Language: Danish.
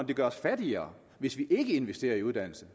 det gør os fattigere hvis vi ikke investerer i uddannelse